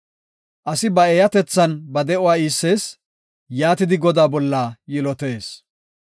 Asi ba eeyatethan ba de7uwa iissees; yaatidi Godaa bolla yilotees.